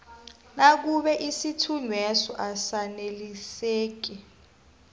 nakube isithunyweso asaneliseki